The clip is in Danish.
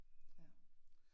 Ja